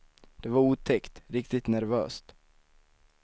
Det var otäckt, riktigt nervöst.